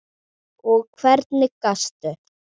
Og hvernig gastu.?